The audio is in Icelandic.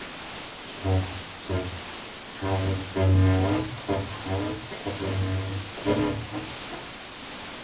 Hjörtur: Hafið þið notið hátíðarinnar til þessa?